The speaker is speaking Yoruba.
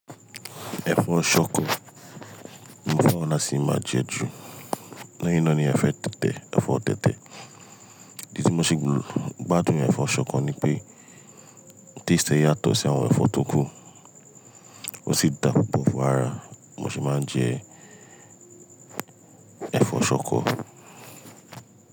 Ẹ̀fọ́ ṣọkọ, mo fẹ́ran lasí máa jẹ ju. Lẹ́yìn náà ni ẹfọ́ tẹ̀tẹ̀. Idí tí mo ṣe gbádùn ní ẹ̀fọ́ ṣọkọ ni pé taste ẹ yàtọ̀ sí àwọn ẹ̀fọ́ tó kù, ó sì dàbobo fún ara. Mo sì máa ń jẹ ẹ̀fọ́ ṣọkọ.